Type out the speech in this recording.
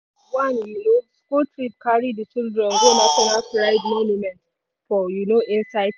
one u no school trip carry di children go national pride monument for u no inside town.